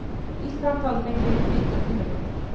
Ísland hafi fengið mikla kynningu